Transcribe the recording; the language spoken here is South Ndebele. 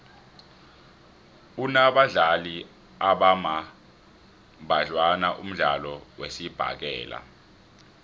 unabadlali abambadlwana umdlalo wesibhakela